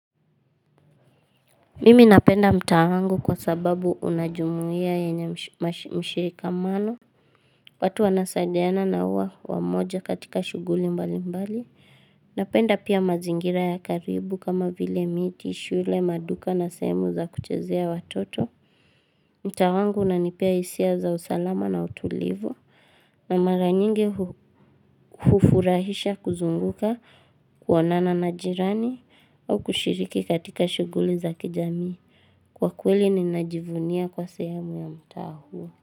Mimi napenda mtaa wangu kwa sababu unajumuia yenye mshirika mano watu wanasaidiana na uwa wamoja katika shughuli mbali mbali Napenda pia mazingira ya karibu kama vile miti, shule, maduka na sehemu za kuchezea watoto mtaa wangu unanipea hisia za usalama na utulivu na mara nyingi hufurahisha kuzunguka kuonana na jirani au kushiriki katika shughuli za kijamii Kwa kweli nina jivunia kwa sehemu ya mtaa huo.